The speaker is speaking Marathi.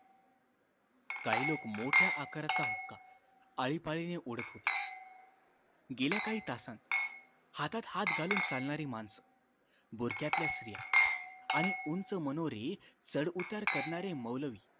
काही लोक मोठ्या आकाराचा हुक्का आळीपाळीने ओढत होते गेल्या काही तासात हातात हात घालून चालणारी माणसं बुरख्यातल्या स्त्रिया आणि उंच मनोरे चढउतार करणारे मौलवी